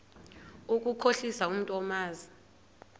ukukhohlisa umntu omazi